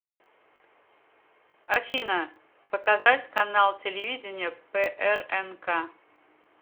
афина показать канал телевидения прнк